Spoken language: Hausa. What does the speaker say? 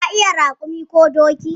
Ka iya raƙumi ko doki?